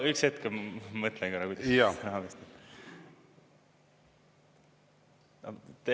Üks hetk, ma mõtlen korra, kuidas vastata.